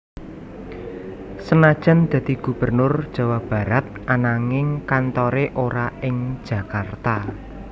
Senajan dadi Gubernur Jawa Barat ananging kantore ora ing Jakarta